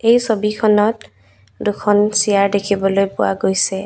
এই ছবিখনত দুখন চেয়াৰ দেখিবলৈ পোৱা গৈছে।